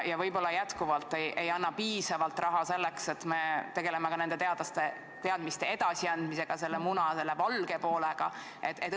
Ja võib-olla jätkuvalt ei ole piisavalt raha selleks, et tegelda ka teadmiste edasiandmisega, selle muna valge poolega?